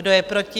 Kdo je proti?